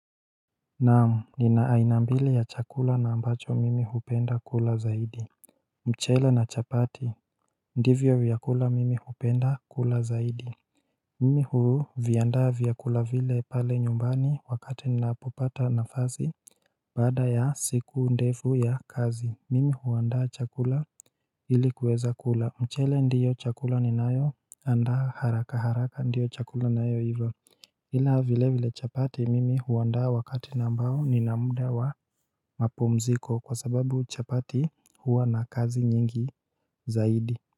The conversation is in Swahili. Naam nina aina mbili ya chakula na ambacho mimi hupenda kula zaidi mchele na chapati ndivyo vyakula mimi hupenda kula zaidi Mimi huu vyandaa vyakula vile pale nyumbani wakati ninapopata nafasi Baada ya siku ndefu ya kazi mimi huandaa chakula ilikuweza kula mchele ndiyo chakula ninayoandaa haraka haraka ndiyo chakula nayo iva Ila vile vile chapati mimi huandaa wakati ambao nina mda wa mapumziko kwa sababu chapati huwa na kazi nyingi zaidi.